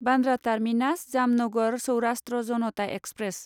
Bandra terminus Jamnagar Saurashtra Janata express